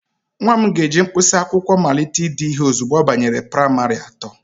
Nwa m ga-eji mkpịsị akwụkwọ malite ide ihe ozugbo ọ banyere praịmarị atọ.